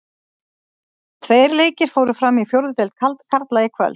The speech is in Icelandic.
Tveir leikir fóru fram í fjórðu deild karla í kvöld.